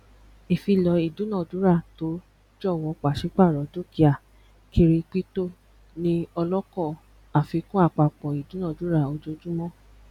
ìfilọ idunadurato jọwọ pàsípàrọ dukia kiripito ni ọlọkọ àfikún àpapọ idunadura ojojumọ